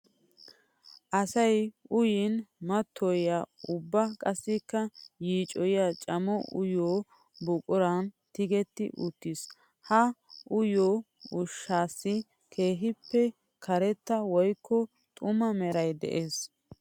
Asay uyin mattoyiya ubba qassikka yiicoyiya cammo uyiyo buquran tiggetti uttiis. Ha uyiyo ushshaassi keehippe karetta woykko xuma meray de'ees.